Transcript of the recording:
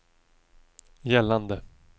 gällande